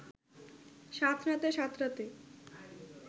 সাঁতরাতে সাঁতরাতে